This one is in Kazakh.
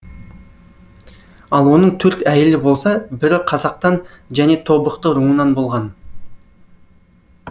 ал оның төрт әйелі болса бірі қазақтан және тобықты руынан болған